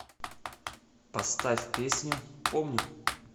поставь песню помню